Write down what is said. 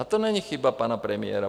A to není chyba pana premiéra.